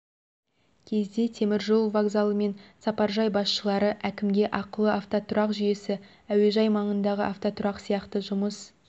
кезде теміржол вокзалы мен сапаржай басшылары әкімге ақылы автотұрақ жүйесі әуежай маңындағы автотұрақ сияқты жұмыс